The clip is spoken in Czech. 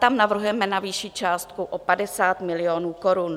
Tam navrhujeme navýšit částku o 50 milionů korun.